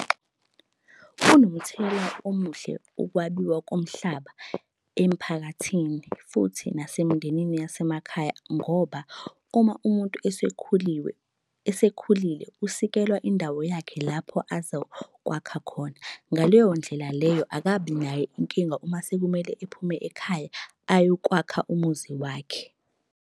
Kunomthelela omuhle ukwabiwa komhlaba emphakathini futhi nasemindenini yasemakhaya, ngoba uma umuntu esekhuliwe esekhulile, usikelwa indawo yakhe lapho azokwakha khona. Ngaleyo ndlela leyo akabi nayo inkinga uma sekumele ephume ekhaya ayokwakha umuzi wakhe.